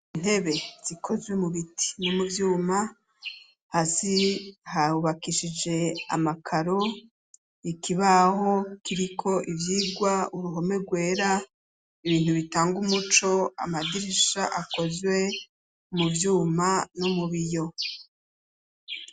Intebe zikozwe mu biti ni mu byuma hasi habakishije amakaro ikibaho kiriko ibyigwa uruhome rwera ibintu bitanga umuco amadirisha akozwe mu byuma no mu biyo.